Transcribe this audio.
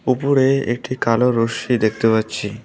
উপরে একটি কালো রস্যি দেখতে পাচ্ছি।